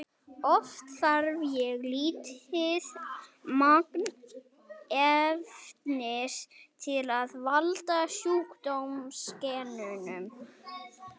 oft þarf mjög lítið magn efnisins til að valda sjúkdómseinkennum